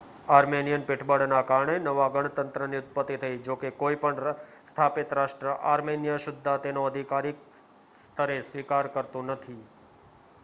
Armenian પીઠબળના કારણે નવા ગણતંત્રની ઉત્પત્તિ થઈ જોકે કોઈ પણ સ્થાપિત રાષ્ટ્ર આર્મેનિયા સુદ્ધાં તેનો આધિકારિક સ્તરે સ્વીકાર કરતું નથી